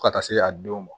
Fo ka taa se a don ma